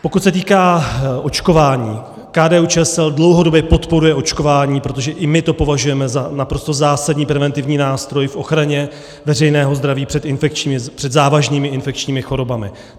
Pokud se týká očkování, KDU-ČSL dlouhodobě podporuje očkování, protože i my to považujeme za naprosto zásadní preventivní nástroj v ochraně veřejného zdraví před závažnými infekčními chorobami.